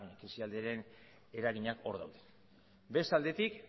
krisialdiaren eraginak hor daude beste aldetik